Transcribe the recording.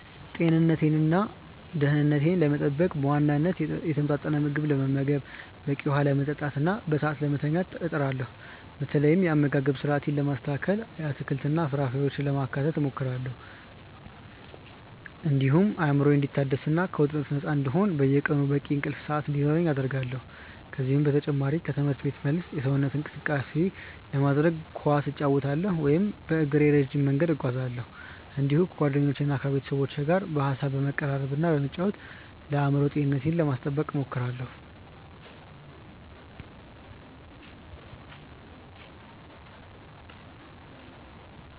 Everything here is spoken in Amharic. ጤንነቴንና ደኅንነቴን ለመጠበቅ በዋናነት የተመጣጠነ ምግብ ለመመገብ፣ በቂ ውኃ ለመጠጣትና በሰዓቱ ለመተኛት እጥራለሁ። በተለይ የአመጋገብ ስርአቴን ለማስተካከል አትክልትና ፍራፍሬዎችን ለማካተት እሞክራለሁ፤ እንዲሁም አእምሮዬ እንዲታደስና ከውጥረት ነፃ እንዲሆን በየቀኑ በቂ የእንቅልፍ ሰዓት እንዲኖረኝ አደርጋለሁ። ከዚህ በተጨማሪ ከትምህርት ቤት መልስ የሰውነት እንቅስቃሴ ለማድረግ ኳስ እጫወታለሁ ወይም በእግሬ ረጅም መንገድ እጓዛለሁ፤ እንዲሁም ከጓደኞቼና ከቤተሰቦቼ ጋር በሐሳብ በመቀራረብና በመጫወት ለአእምሮ ጤንነቴ ለማስጠበቅ እሞክራለሁ።